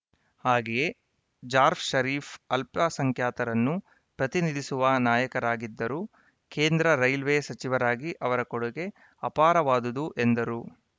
ಹಾಗೆಯೇ ಜಾರ್ಫ್ ಷರೀಫ್‌ ಅಲ್ಪಸಂಖ್ಯಾತರನ್ನು ಪ್ರತಿನಿಧಿಸುವ ನಾಯಕರಾಗಿದ್ದರು ಕೇಂದ್ರ ರೈಲ್ವೆ ಸಚಿವರಾಗಿ ಅವರ ಕೊಡುಗೆ ಅಪಾರವಾದುದು ಎಂದರು